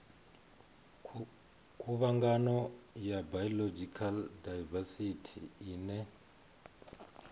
khuvhangano ya biological daivesithi ine